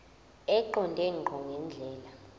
eqonde ngqo ngendlela